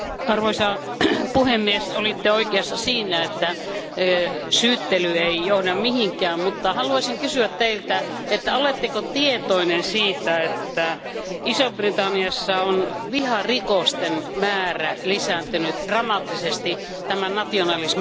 Olette oikeassa siinä, että syyttely ei johda mihinkään, mutta haluaisin kysyä Teiltä, että oletteko tietoinen siitä, että Iso Britanniassa viharikosten määrä on lisääntynyt dramaattisesti tämän nationalismin nousun takia.